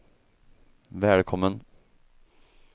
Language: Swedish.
välkommen